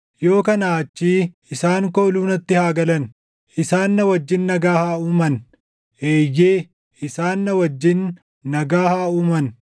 Yoo kanaa achii isaan kooluu natti haa galan; isaan na wajjin nagaa haa uuman; eeyyee, isaan na wajjin nagaa haa uuman.”